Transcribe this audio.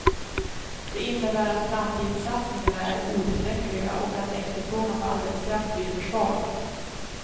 Det innebär att framtidssatsningarna är otillräckliga och att efterfrågan på arbetskraft blir för svag.